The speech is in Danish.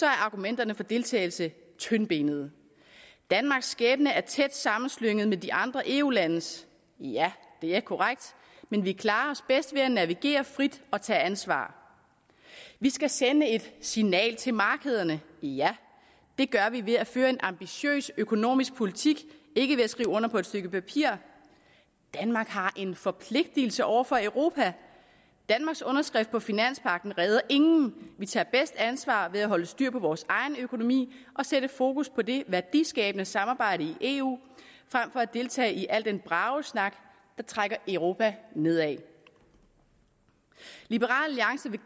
er argumenterne for deltagelse tyndbenede danmarks skæbne er tæt sammenslynget med de andre eu landes ja det er korrekt men vi klarer os bedst ved at navigere frit og tage ansvar vi skal sende et signal til markederne ja det gør vi ved at føre en ambitiøs økonomisk politik ikke ved at skrive under på et stykke papir danmark har en forpligtigelse over for europa danmarks underskrift på finanspagten redder ingen vi tager bedst ansvar ved at holde styr på vores egen økonomi og sætte fokus på det værdiskabende samarbejde i eu frem for at deltage i al den bragesnak der trækker europa nedad liberal alliance vil